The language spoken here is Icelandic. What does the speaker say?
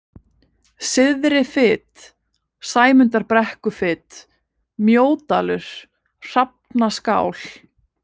Syðrifit, Sæmundarbrekkufit, Mjódalur, Hrafnaskál